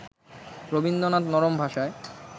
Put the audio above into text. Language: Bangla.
রবীন্দ্রনাথ নরম ভাষায়